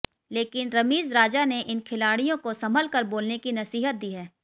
लेकिन रमीज राजा ने इन खिलाड़ियों को संभल कर बोलने की नसीहत दी है